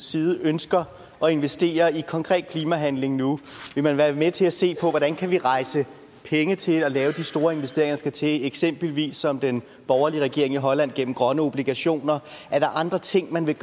side ønsker at investere i konkret klimahandling nu vil man være med til at se på hvordan vi kan rejse penge til at lave de store investeringer der skal til eksempelvis som den borgerlige regering i holland gør gennem grønne obligationer er der andre tiltag man ville